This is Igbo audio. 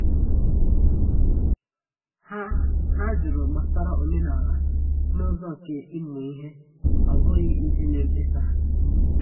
Ha Ha jụrụ gbasara omenala n’ụzọ nke ịmụ ihe, ọ bụghị iji mee mkpesa.